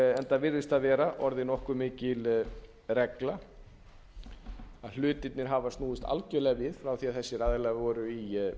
enda virðist það vera orðin nokkuð mikil regla að hlutirnir hafa snúist algerlega við frá því að þessir aðilar voru í